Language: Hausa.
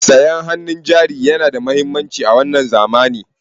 Sayan hannun jari yana da mahimmanci a wannan zamani.